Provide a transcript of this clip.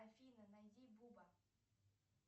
афина найди буба